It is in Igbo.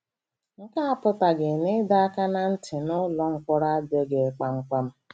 Nke a apụtaghị na ịdọ aka ná ntị nụlọ mkpọrọ adịghị ghị kpamkpam.